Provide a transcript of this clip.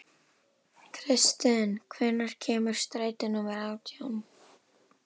Kristin, hvenær kemur strætó númer átján?